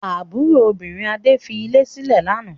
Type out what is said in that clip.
Àbúrò obìnrin Adé fi ilé sílẹ̀ lánàá?